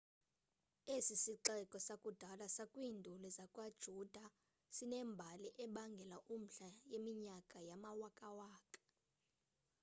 esi sixeko sakudala sakwiinduli zakwayuda sinembali ebangela umdla yeminyaka yamawakawaka